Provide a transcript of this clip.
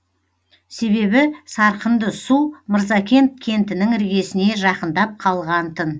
себебі сарқынды су мырзакент кентінің іргесіне жақындап қалған тын